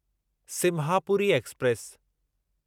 Simhapuri express